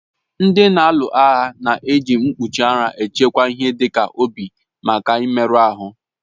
Ndị na-alu agha na èji mkpuchi ara echekwa ihe dịka obi ha maka mmerụ ahụ